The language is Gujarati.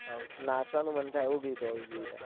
નાચવાનું મન થાય એવું ગીત હોવું જોઈએ